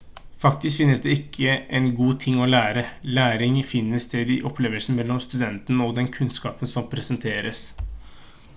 faktisk finnes det ikke én god ting å lære læring finner sted i opplevelsen mellom studenten og den kunnskapen som presenteres